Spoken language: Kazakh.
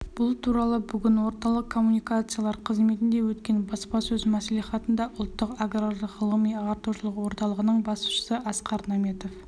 бұл туралы бүгін орталық коммуникациялар қызметінде өткен баспасөз мәслихатында ұлттық аграрлық ғылыми-ағартушылық орталығының басшысы асқар наметов